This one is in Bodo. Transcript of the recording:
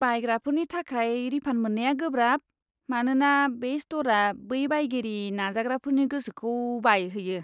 बायग्राफोरनि थाखाय रिफान्ड मोननाया गोब्राब, मानोना बे स्ट'रआ बै बायगिरि नाजाग्राफोरनि गोसोखौ बायहोयो!